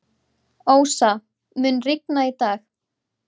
Ósa, mun rigna í dag?